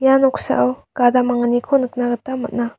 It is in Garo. ia noksao gada manggniko nikna gita man·a.